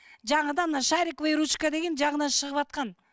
жаңадан мына шариковая ручка деген жаңадан шығыватқан